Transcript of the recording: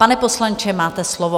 Pane poslanče, máte slovo.